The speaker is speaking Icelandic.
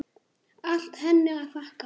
Allt henni að þakka.